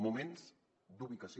moments d’ubicació